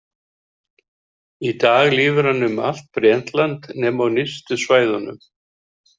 Í dag lifir hann um allt Bretland nema á nyrstu svæðunum.